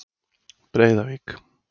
Breiðavík